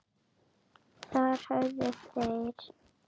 Þar höfðu þeir